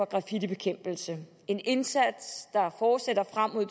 graffitibekæmpelse en indsats der fortsætter frem mod